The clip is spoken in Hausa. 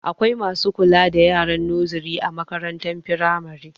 Akwai masu kula da yaran noziri a makarantar firamare